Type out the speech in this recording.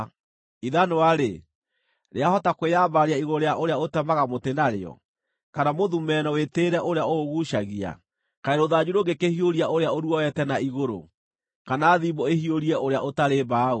Ithanwa-rĩ, rĩahota kwĩyambararia igũrũ rĩa ũrĩa ũtemaga mũtĩ narĩo, kana mũthumeno wĩtĩĩre ũrĩa ũũguucagia? Kaĩ rũthanju rũngĩkĩhiũria ũrĩa ũruoete na igũrũ, kana thimbũ ĩhiũrie ũrĩa ũtarĩ mbaũ!